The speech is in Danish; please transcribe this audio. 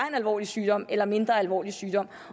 en alvorlig sygdom eller mindre alvorlig sygdom